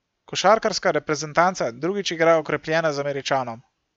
Košarkarska reprezentanca drugič igra okrepljena z Američanom.